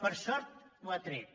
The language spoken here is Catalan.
per sort ho han tret